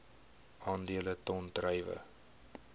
aandele ton druiwe